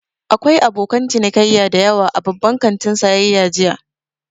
Akwai abokan cinikayya da yawa a babban kantin sayayya jiya.